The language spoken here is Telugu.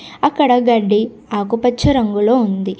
అక్కడ గడ్డి ఆకుపచ్చ రంగులో ఉంది.